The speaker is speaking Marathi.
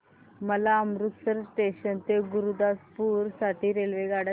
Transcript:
मला अमृतसर जंक्शन ते गुरुदासपुर साठी रेल्वेगाड्या सांगा